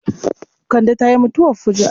Kande ta yi mutuwar fuju'a.